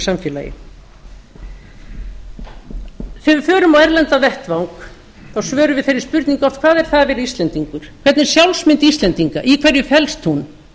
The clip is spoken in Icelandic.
samfélagi þegar við förum á erlendan vettvang þá svörum við þeirri spurningu oft hvað er það að vera íslendingur hvernig er sjálfsmynd íslendinga í hverju felst hún